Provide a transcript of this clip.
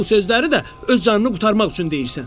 Bu sözləri də öz canını qurtarmaq üçün deyirsən.”